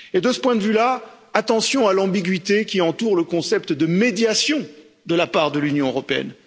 De ce point de vue là, attention à l'ambiguïté qui entoure le concept de médiation de l'Union européenne.